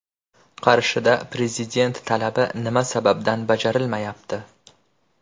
Qarshida Prezident talabi nima sababdan bajarilmayapti?.